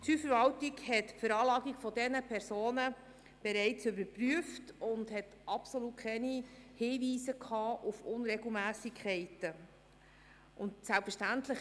Die Steuerverwaltung hat die Veranlagung dieser Personen bereits überprüft und dabei absolut keine Hinweise auf Unregelmässigkeiten gefunden.